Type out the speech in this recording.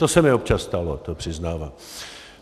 To se mi občas stalo, to přiznávám.